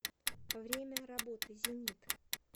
время работы зенит